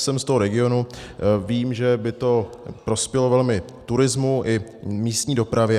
Jsem z toho regionu, vím, že by to prospělo velmi turismu i místní dopravě.